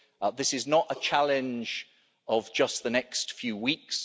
This is not a challenge of just the next few weeks.